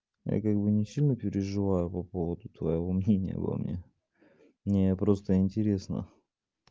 я как бы не сильно переживаю по поводу твоего мнения обо мне мне просто интересно